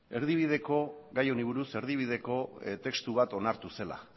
gai honi buruz erdibideko testu bat onartu zela